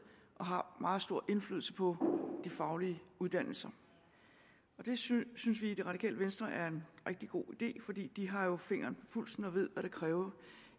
og har meget stor indflydelse på de faglige uddannelser det synes vi i det radikale venstre er en rigtig god idé for de har jo fingeren pulsen og ved hvad det kræver